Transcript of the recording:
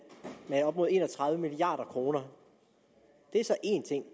med op mod en og tredive milliard kroner det er så én ting